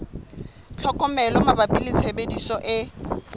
tlhokomelo mabapi le tshebediso e